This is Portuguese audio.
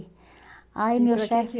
aí meu chefe E para que que